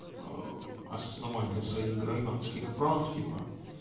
аа осознавание своих гражданских прав типа